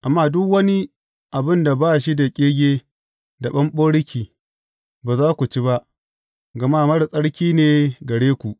Amma duk wani abin da ba shi da ƙege da ɓamɓaroki, ba za ku ci ba; gama marar tsarki ne gare ku.